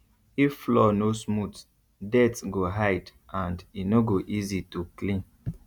if floor no smooth dirt go hide and e no go easy to clean